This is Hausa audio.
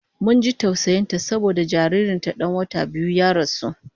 Mun ji tausayin ta saboda jaririn ta dan wata biyu ya rasu